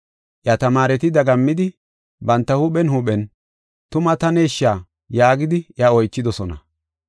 Iya tamaareti dagammidi, banta huuphen huuphen, “Tuma taneshsha?” yaagidi iya oychidosona.